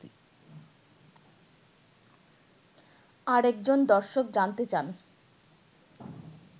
আরেকজন দর্শক জানতে চান